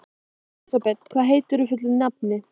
Elisabeth, hvað heitir þú fullu nafni?